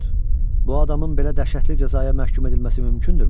Milord, bu adamın belə dəhşətli cəzaya məhkum edilməsi mümkündürmü?